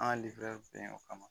An bɛ yen o kama